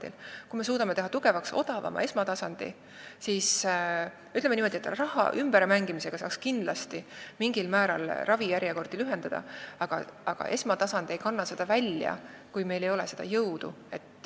Ütleme niimoodi, et kui me suudame teha tugevaks odavama esmatasandi, siis raha ümber mängimisega saaks kindlasti mingil määral ravijärjekordi lühendada, aga esmatasand ei kanna seda välja, kui meil ei ole jõudu.